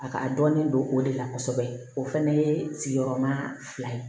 A ka dɔɔnin don o de la kosɛbɛ o fana ye sigiyɔrɔma fila ye